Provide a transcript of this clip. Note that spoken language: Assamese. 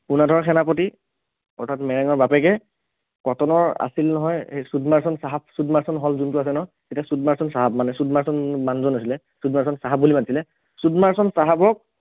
পোনাধৰ সেনাপতি অৰ্থাৎ মেৰেঙৰ বাপেকে কটনৰ আছিল নহয় সেই ছুদমাৰ্চন চাহাব ছুদমাৰ্চন hall যোনটো আছে ন এতিয়া ছুদমাৰ্চন চাহাব মানে ছুদমাৰ্চন মানুহজন আছিলে ছুদমাৰ্চন চাহাব বুলি মাতিছিলে ছুদমাৰ্চন চাহাবক